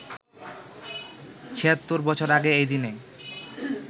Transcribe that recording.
৭৬ বছর আগে এই দিনে